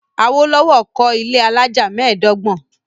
Awolowo kọ́ ilé alájà mẹ́ẹ̀dọ́gbọ̀n.